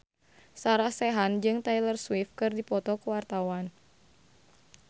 Sarah Sechan jeung Taylor Swift keur dipoto ku wartawan